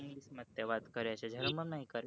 વાત કરે છે